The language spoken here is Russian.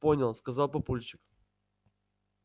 понял сказал папульчик